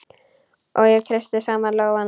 Og ég kreisti saman lófana.